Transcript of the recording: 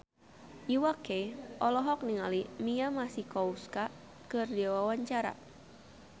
Iwa K olohok ningali Mia Masikowska keur diwawancara